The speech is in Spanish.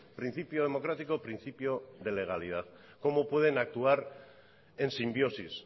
principio democrático principio de legalidad cómo pueden actuar en simbiosis